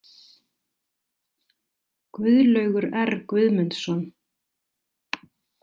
Guðlaugur R Guðmundsson.